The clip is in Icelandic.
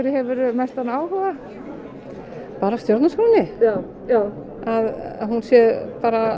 hefurðu mestan áhuga bara stjórnarskránni að hún sé